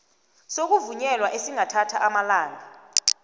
sokuvunyelwa esingathatha amalanga